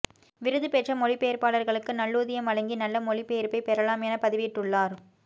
விருதுபெற்ற மொழிபெயர்ப்பாளர்களுக்கு நல்லூதியம் வழங்கி நல்ல மொழிபெயர்ப்பைப் பெறலாம் என பதிவிட்டுள்ளார்